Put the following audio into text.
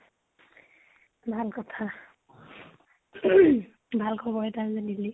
ভাল কথা , ভাল খবৰ এটা দিলি দে।